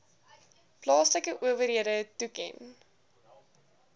plaaslike owerhede toeken